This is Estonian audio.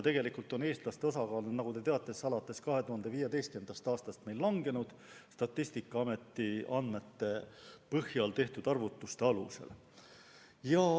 Tegelikult on eestlaste osakaal, nagu te teate, alates 2015. aastast meil kahanenud .